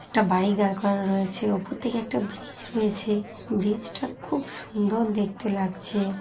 একটা বাইক রাখা রয়েছে উপর থেকে একটা ব্রিজ রয়েছে ব্রিজ -টা খুব সুন্দর দেখতে লাগছে।